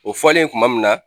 O fɔlen kuma min na